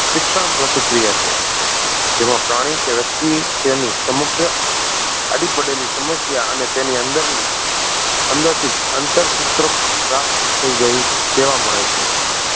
શિક્ષણ પ્રતિક્રિયા છે જેમાં પ્રાણી કે વ્યક્તિ તેની સમગ્ર આડી પડેલી સમસ્યા અને તેની અંદર ની અંદર થી આંતરસૂત્ર પ્રાપ્ત થઈ જાય તેવા મળે છે